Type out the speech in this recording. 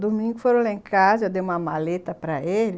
Domingo foram lá em casa, eu dei uma maleta para ele.